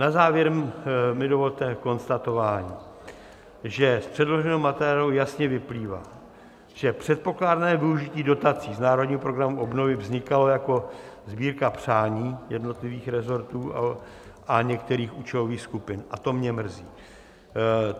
Na závěr mi dovolte konstatování, že z předloženého materiálu jasně vyplývá, že předpokládané využití dotací z Národního programu obnovy vznikalo jako sbírka přání jednotlivých resortů a některých účelových skupin, a to mě mrzí.